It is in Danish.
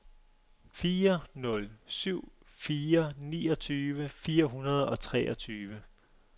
fire nul syv fire niogtyve fire hundrede og treogtyve